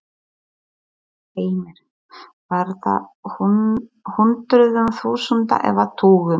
Heimir: Var það í hundruðum þúsunda eða tugum?